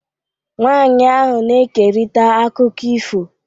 Nwanyị ahụ na-ekerịta akụkọ ifo.